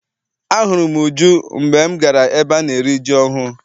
Ahụrụ m Uju mgbe m gara ebe ana eri ji ọhụụ.